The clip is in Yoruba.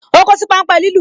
O kosi pan ń pe lilu